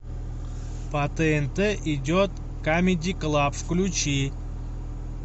по тнт идет камеди клаб включи